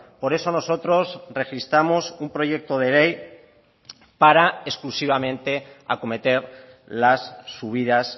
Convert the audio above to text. por eso nosotros registramos un proyecto de ley para exclusivamente acometer las subidas